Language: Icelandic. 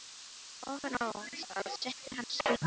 Ofan á það setti hann spýtu með fána.